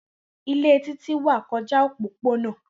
Ile Titi wa kọja opopona.